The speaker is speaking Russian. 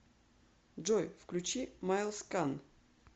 джой включи майлс кан